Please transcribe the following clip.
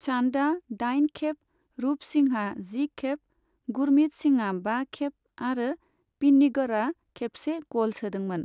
चान्दआ दाइन खेब, रूप सिंहआ जि खेब, गुरमीत सिंहआ बा खेब आरो पिन्नीगरआ खेबसे गल सोदोंमोन।